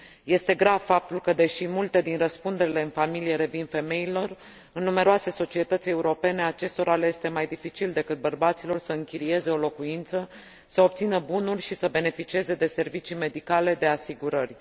Este grav faptul că, deși multe din răspunderile în familie revin femeilor, în numeroase societăți europene acestora le este mai dificil decât bărbaților să închirieze o locuință, să obțină bunuri și să beneficieze de servicii medicale, de asigurări.